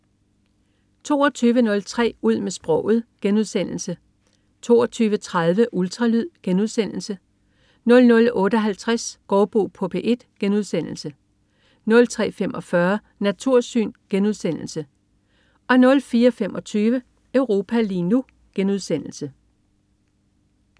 22.03 Ud med sproget* 22.30 Ultralyd* 00.58 Gaardbo på P1* 03.45 Natursyn* 04.25 Europa lige nu*